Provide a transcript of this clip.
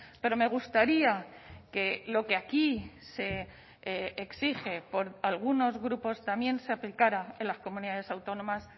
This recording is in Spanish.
pero me gustaría que lo que aquí se exige por algunos grupos también se aplicara en las comunidades autónomas